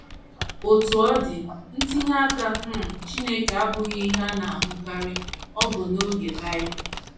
Otú ọ dị, ntinye aka um Chineke abụghị ihe a na - ahụkarị, ọbụna n’oge Bible.